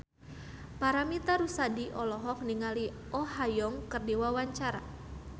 Paramitha Rusady olohok ningali Oh Ha Young keur diwawancara